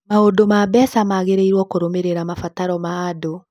Maũndũ ma mbeca magĩrĩirũo nĩ kũrũmĩrĩra mabataro ma andũ.